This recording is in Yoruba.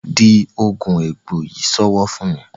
di oògùn egbò yí sowo fún mí.